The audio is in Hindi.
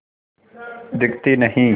दिखती नहीं